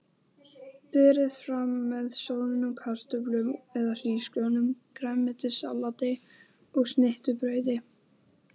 Þetta er bær í örum vexti með blómlegri útgerð þilskipa.